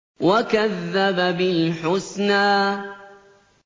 وَكَذَّبَ بِالْحُسْنَىٰ